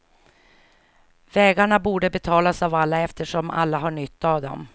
Vägarna borde betalas av alla, eftersom alla har nytta av dem.